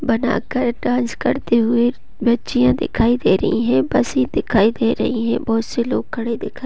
बनाकर डांस करते हुए बच्चियां दिखाई दे रही है बसे दिखाई दे रही है बहुत से लोग खड़े दिखा --